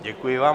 Děkuji vám.